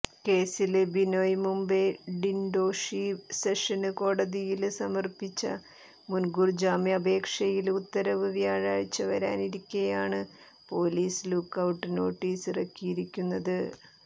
കേസില് ബിനോയ് മുംബൈ ഡിന്ഡോഷി സെഷന്സ് കോടതിയില് സമര്പ്പിച്ച മുന്കൂര്ജാമ്യാപേക്ഷയില് ഉത്തരവ് വ്യാഴാഴ്ച വരാനിരിക്കേയാണ് പോലീസ് ലുക്കൌട്ട് നോട്ടീസിറക്കിയിരിക്കുന്നത്